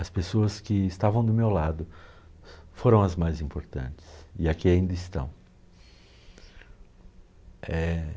As pessoas que estavam do meu lado foram as mais importantes e aqui ainda estão. Eh...